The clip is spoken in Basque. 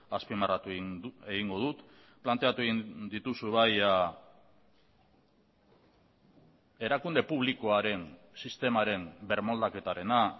azpimarratu egingo dut planteatu egin dituzu bai erakunde publikoaren sistemaren birmoldaketarena